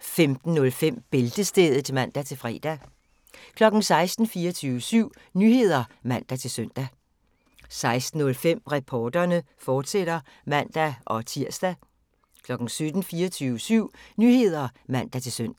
15:05: Bæltestedet (man-fre) 16:00: 24syv Nyheder (man-søn) 16:05: Reporterne, fortsat (man-tir) 17:00: 24syv Nyheder (man-søn)